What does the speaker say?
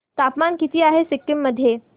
तापमान किती आहे सिक्किम मध्ये